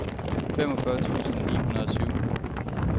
femogfyrre tusind ni hundrede og syv